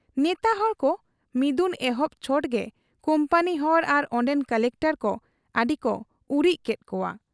ᱱᱮᱛᱟ ᱦᱚᱲᱠᱚ ᱢᱤᱫᱩᱱ ᱮᱦᱚᱵ ᱪᱷᱚᱴᱜᱮ ᱠᱩᱢᱯᱟᱱᱤ ᱦᱚᱲ ᱟᱨ ᱚᱱᱰᱮᱱ ᱠᱚᱞᱮᱠᱴᱚᱨ ᱠᱚ ᱟᱹᱰᱤᱠᱚ ᱩᱨᱤᱡ ᱠᱮᱫ ᱠᱚᱣᱟ ᱾